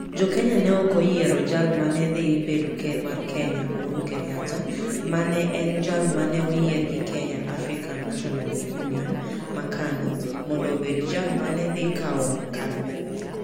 Jo Kenya ne ok oyiero jal ma ne dhi bedo ker mar Kenya, Uhuru Kenyatta, ma ne en jal ma ne oyier gi Kenya African National Union (KANU), mondo obed jal ma ne dhi kawo kar Moi.